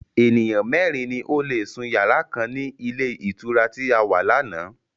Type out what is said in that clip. Ènìyàn mẹ́ẹ́rin ni ó lé sún yàrá kan ni ilé ìtura tí a wà láánaà